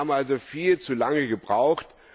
Wir haben also viel zu lange gebraucht.